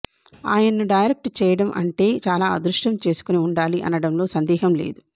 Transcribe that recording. ఆయన్ను డైరెక్ట్ చేయడం అంటే చాలా అదృష్టం చేసుకుని ఉండాలి అనడంలో సందేహం లేదు